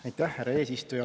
Aitäh, härra eesistuja!